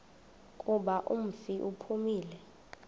kuba umfi uphumile